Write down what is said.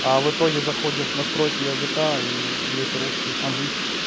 а в итоге заходишь в настройки языка и есть русский английский